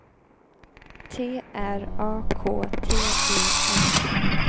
T R A K T E N